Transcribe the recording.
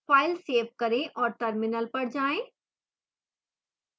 file save करें और terminal पर जाएं